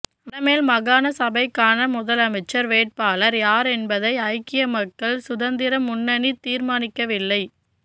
வடமேல் மாகாண சபைக்கான முதலமைச்சர் வேட்பாளர் யாரென்பதனை ஐக்கிய மக்கள் சுதந்திர முன்னணி தீர்மானிக்கவில்லை